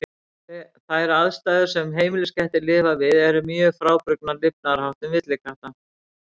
Þær aðstæður sem heimiliskettir lifa við eru mjög frábrugðnar lifnaðarháttum villikatta.